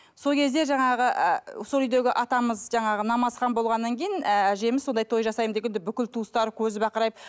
сол кезде жаңағы ыыы сол үйдегі атамыз жаңағы намазхан болғаннан кейін ііі әжеміз сондай той жасаймын дегенде бүкіл туыстар көзі бақырайып